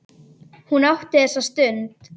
Hún átti þessa stund.